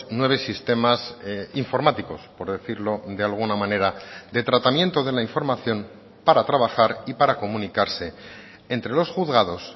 nueve sistemas informáticos por decirlo de alguna manera de tratamiento de la información para trabajar y para comunicarse entre los juzgados